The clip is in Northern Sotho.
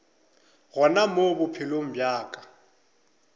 gona mo bophelong bja ka